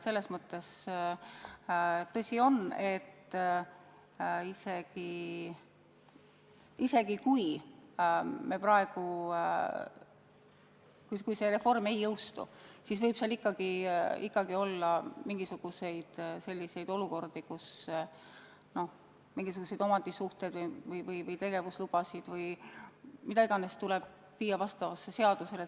Tõsi ju on, et kui see reform ei jõustu, siis võib ikkagi olla selliseid olukordi, kus mingisuguseid omandisuhteid või tegevuslubasid või mida iganes tuleb viia vastavusse seadusega.